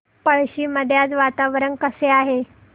पळशी मध्ये आज वातावरण कसे आहे